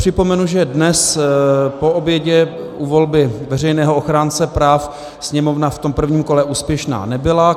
Připomenu, že dnes po obědě u volby veřejného ochránce práv Sněmovna v tom prvním kole úspěšná nebyla.